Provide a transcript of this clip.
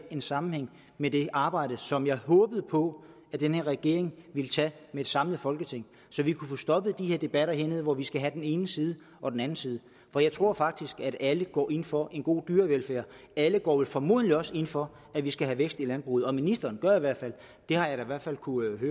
en sammenhæng med det arbejde som jeg håbede på at den her regering ville tage med et samlet folketing så vi kunne få stoppet de her debatter hernede hvor vi skal have den ene side og den anden side af for jeg tror faktisk at alle går ind for en god dyrevelfærd alle går formodentlig også ind for at vi skal have vækst i landbruget og ministeren det har jeg da i hvert fald kunnet